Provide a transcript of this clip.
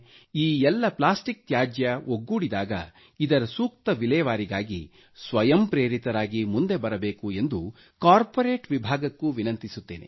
ಈ ಎಲ್ಲ ಪ್ಲಾಸ್ಟಿಕ್ ತ್ಯಾಜ್ಯ ಒಗ್ಗೂಡಿದಾಗ ಇದರ ಸೂಕ್ತ ವಿಲೇವಾರಿಗೆ ಸ್ವಯಂಪ್ರೇರಿತರಾಗಿ ಮುಂದೆ ಬರಬೇಕು ಎಂದು ಕಾರ್ಪೊರೇಟ್ ವಿಭಾಗಕ್ಕೂ ವಿನಂತಿಸುತ್ತೇನೆ